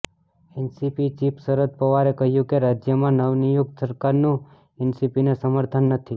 NCP chief Sharad પવારે કહ્યું કે રાજ્યમાં નવનિયુક્ત સરકારનું એનસીપીને સમર્થન નથી